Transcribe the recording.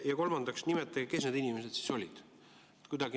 Ja kolmandaks, nimetage, kes need inimesed siis olid.